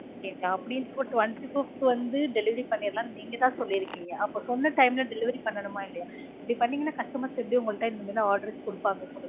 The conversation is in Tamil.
அபிடிங்ளா அப்டீங்கப்ப twenty fifth வந்து delivery பண்ணிடுலான் நீங்க தான் சொல்லிருகீங்க அப்ப சொன்ன time ல delivery பண்ணனுமா இல்லயா. இப்டி பண்ணிங்கனா customers எப்டி உங்களட்ட order குடுப்பாங்க